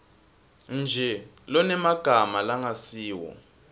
nje lonemagama langasiwo